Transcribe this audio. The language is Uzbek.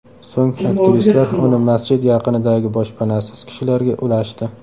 So‘ng aktivistlar uni masjid yaqinidagi boshpanasiz kishilarga ulashdi.